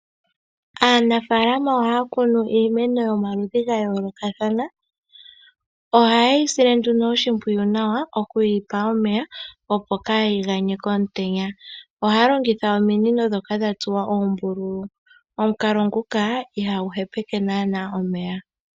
Aanafalama oha ya kunu iimeno yomaludhi ga yoolokathana. Oha yeyi sile oshimpwiyu nawa okuyi pa omeya opo kayi ganye komutenya. Ohaya longitha ominino dhoka dha tsuwa oombululu. Omukalo nguka ihagu hepeke naana omeya.